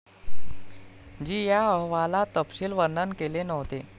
जी या अहवालात तपशील वर्णन केले नव्हते.